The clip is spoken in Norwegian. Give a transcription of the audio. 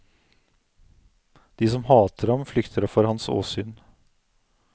De som hater ham, flykter for hans åsyn.